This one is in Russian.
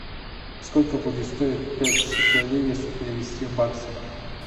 сколько будет стоить пять шекелей если перевести в баксы